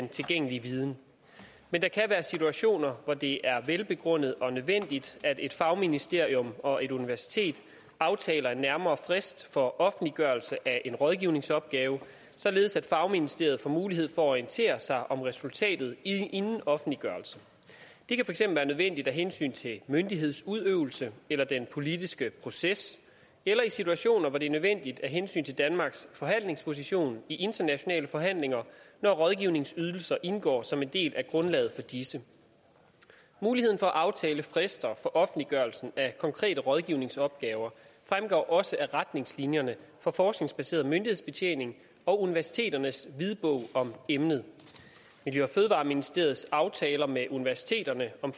den tilgængelige viden men der kan være situationer hvor det er velbegrundet og nødvendigt at et fagministerium og et universitet aftaler en nærmere frist for offentliggørelse af en rådgivningsopgave således at fagministeriet får mulighed for at orientere sig om resultatet inden offentliggørelse det kan være nødvendigt af hensyn til myndighedsudøvelse eller den politiske proces eller i situationer hvor det er nødvendigt af hensyn til danmarks forhandlingsposition i internationale forhandlinger når rådgivningsydelser indgår som en del af grundlaget for disse muligheden for at aftale frister for offentliggørelse af konkrete rådgivningsopgaver fremgår også af retningslinjerne for forskningsbaseret myndighedsbetjening og universiteternes hvidbog om emnet miljø og fødevareministeriets aftaler med universiteterne om